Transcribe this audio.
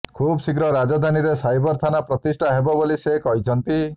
ଖୁବ୍ ଶୀଘ୍ର ରାଜଧାନୀରେ ସାଇବର ଥାନା ପ୍ରତିଷ୍ଠା ହେବ ବୋଲି ସେ କହିଛନ୍ତି